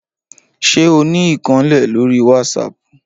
Ṣé o ní ìkànnlé lórí wásápù?